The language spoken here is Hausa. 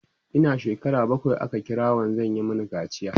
Ina shekara bakwai aka kira wanzan ya Mani kaciya